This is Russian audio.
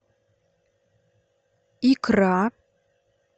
икра